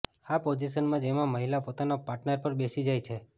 આ પોઝિશન જેમાં મહિલા પોતાના પાર્ટનર પર બેસી જાય છે